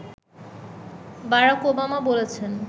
Barack Obama বলেছেন